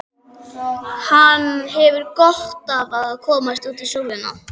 Hann hefur gott af að komast út í sólina.